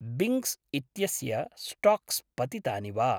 बिङ्ग्स् इत्यस्य स्टाक्स् पतितानि वा?